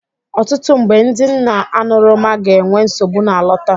Ọtụtụ mgbe, ndị nna aṅụrụma ga-enwe nsogbu na-alọta